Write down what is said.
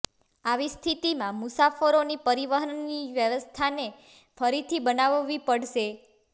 આવી સ્થિતિમાં મુસાફરોની પરિવહનની વ્યવસ્થાને ફરીથી બનાવવી પડશે